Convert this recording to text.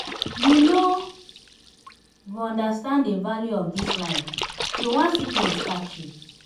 you no go understand the value of dis life till one sickness catch you